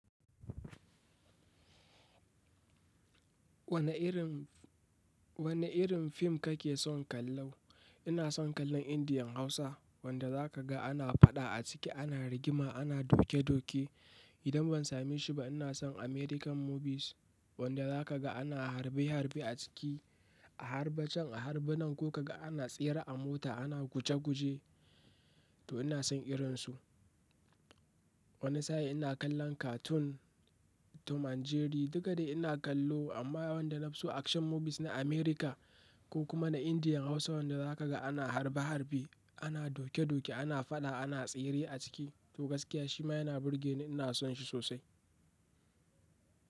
Wane irin fim ka ke son kallo? Inason kallo indian hausa wanda zakaga ana faɗa ana rigima ana doke doke idan ban sami shi ba ina son American movies wanda za ka ga ana harbe harbe a ciki, a harbe can a harbe nan ko ka ga ana tsere a mota, ana guje guje to ina son irinsu. Wani sa'a ina kallon cartoon, Tom and Jerry duk da ina kallo amma wanda na fi so action movies na America ko kuma na Indian Hausa wanda za ka ga ana harbe harbe, ana doke doke, ana faɗa, ana tsere a ciki to gaskiya shi ma yana burge ni ina son shi sosai.